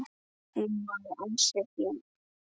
Hún var ansi flink.